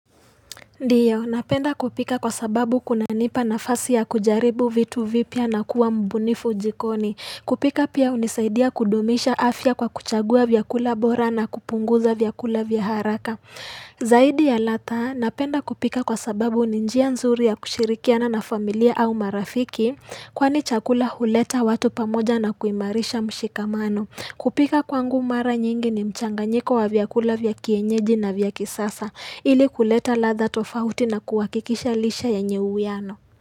Ndiyo, napenda kupika kwa sababu kuna nipa nafasi ya kujaribu vitu vipya na kuwa mbunifu jikoni. Kupika pia unisaidia kudumisha afya kwa kuchagua vyakula bora na kupunguza vyakula vya haraka. Zaidi ya ladha, napenda kupika kwa sababu ni njia nzuri ya kushirikiana na familia au marafiki, kwani chakula huleta watu pamoja na kuimarisha mshikamano. Kupika kwangu mara nyingi ni mchanganyiko wa vyakula vya kienyeji na vya kisasa. Ili kuleta ladha tofauti na kuhakikisha lishe yenye uwiano.